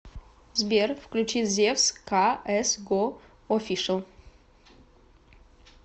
сбер включи зевс ка эс го офишл